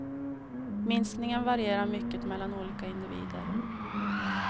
Minskningen varierar mycket mellan olika individer.